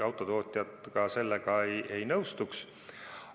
Autotootjad ka sellega ei nõustuks.